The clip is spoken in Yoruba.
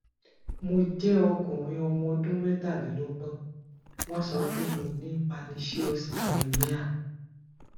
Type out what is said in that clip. mo jẹ okunrin ọmọ ọdún metalelọgbọn wọn so pe mo ní pernecious anemia